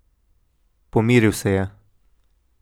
Pomiril se je.